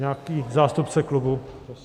Nějaký zástupce klubu.